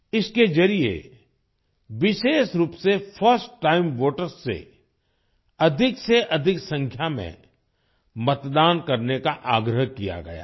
इसके जरिए विशेष रूप से फर्स्ट टाइम वोटर्स से अधिकसेअधिक संख्या में मतदान करने का आग्रह किया गया है